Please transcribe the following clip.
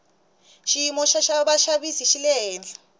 xiyimo xo xavisa xi le hehla